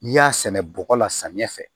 N'i y'a sɛnɛ bɔgɔ la samiya fɛ